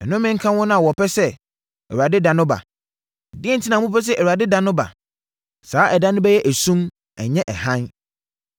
Nnome nka wɔn a wɔpɛ sɛ Awurade da no ba! Deɛn enti na mopɛ sɛ Awurade da no ba? Saa ɛda no bɛyɛ esum, na ɛnnyɛ hann.